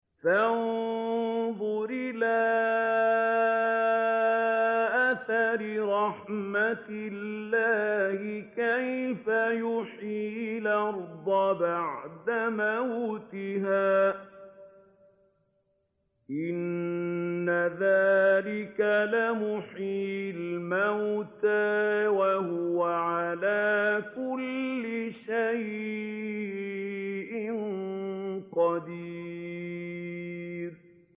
فَانظُرْ إِلَىٰ آثَارِ رَحْمَتِ اللَّهِ كَيْفَ يُحْيِي الْأَرْضَ بَعْدَ مَوْتِهَا ۚ إِنَّ ذَٰلِكَ لَمُحْيِي الْمَوْتَىٰ ۖ وَهُوَ عَلَىٰ كُلِّ شَيْءٍ قَدِيرٌ